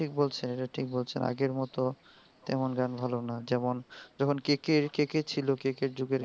ঠিক বলসেন, এটা ঠিক বলসেন আগের মতো তেমন গান ভালো না. যেমন যেমন কেকে কেকে ছিল কেকের যুগের গান গুলো.